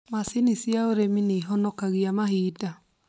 Macini cia ũrĩmi nĩũhonokagia mahinda